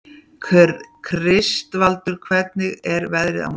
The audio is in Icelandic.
Kristvaldur, hvernig er veðrið á morgun?